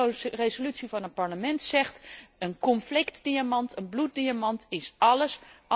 Deze resolutie van het Parlement zegt een conflictdiamant, een bloeddiamant is alles.